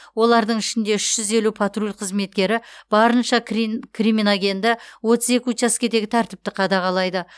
олардың ішінде үш жүз елу патруль қызметкері барынша кримоногенді отыз екі учаскедегі тәртіпті қадағалайды